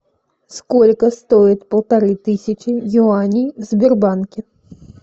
сколько стоит полторы тысячи юаней в сбербанке